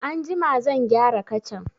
Anjima zan gyara kacan.